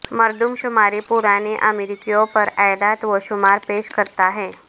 مردم شماری پرانے امریکیوں پر اعداد و شمار پیش کرتا ہے